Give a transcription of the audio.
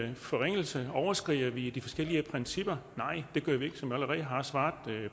en forringelse overskrider vi de forskellige principper nej det gør vi ikke som jeg allerede har svaret